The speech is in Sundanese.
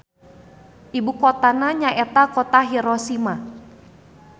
Ibukotana nyaeta Kota Hiroshima.